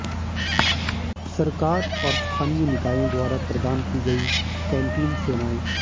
सरकार और स्थानीय निकायों द्वारा प्रदान की गई कैंटीन सेवाएं